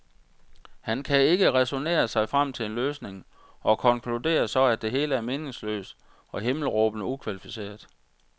Han kan ikke ræsonnere sig frem til en løsning og konkluderer så, at det hele er meningsløst og himmelråbende ukvalificeret.